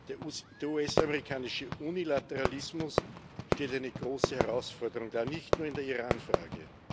Der US amerikanische Unilateralismus stellt eine große Herausforderung dar, nicht nur in der Iranfrage.